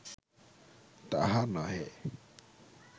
তাহা নহে